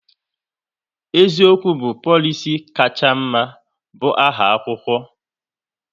*Eziokwu bụ polisi kacha mma"bu aha akwụkwọ